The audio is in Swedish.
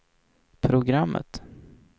programmet